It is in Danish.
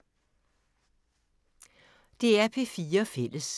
DR P4 Fælles